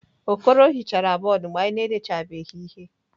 Okoro hichara bọọdụ mgbe anyị na-edechabeghị ihe.